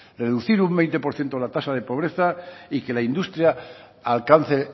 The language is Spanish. reducir un veinte por ciento la tasa de pobreza y que la industria alcance